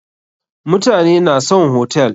Mutane na son hotel.